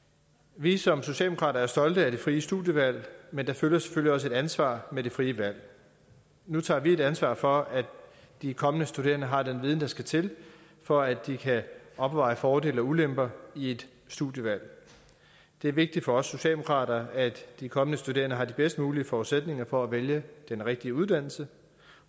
vi er som socialdemokrater stolte af det frie studievalg men der følger selvfølgelig også et ansvar med det frie valg nu tager vi ansvar for at de kommende studerende har den viden der skal til for at de kan opveje fordele og ulemper i et studievalg det er vigtigt for os socialdemokrater at de kommende studerende har de bedst mulige forudsætninger for at vælge den rigtige uddannelse